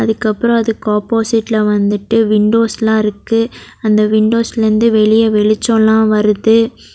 அதுக்கு அப்ரோ அதுக்கு ஆபோசிட்ல வந்துட்டு விண்டோஸ்லா இருக்கு அந்த வின்டோஸ்ல இருந்து வெளியெ வெளிச்சோலா வருது.